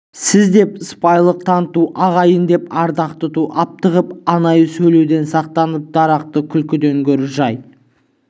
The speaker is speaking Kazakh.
сіз деп сыпайылық таныту ағайын деп ардақ тұту аптығып анайы сөйлеуден сақтанып дарақы күлкіден гөрі жай